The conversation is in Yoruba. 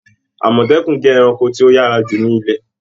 Àmọ̀tẹ́kùn jẹ ẹranko ti o yára ju ni ilẹ̀.